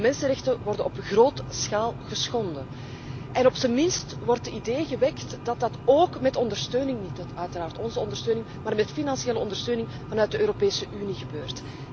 De mensenrechten worden er op grote schaal geschonden en op zijn minst wordt het idee gewekt dat dat ook met ondersteuning, uiteraard niet met onze ondersteuning, maar met financiële ondersteuning vanuit de Europese Unie, gebeurt.